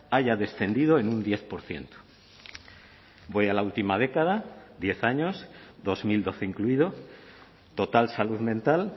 haya descendido en un diez por ciento voy a la última década diez años dos mil doce incluido total salud mental